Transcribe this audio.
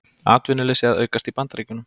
Atvinnuleysi að aukast í Bandaríkjunum